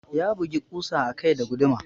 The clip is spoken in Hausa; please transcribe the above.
Ya bugi ƙusa a kai da guduma.